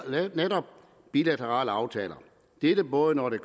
bilaterale aftaler det gælder både når det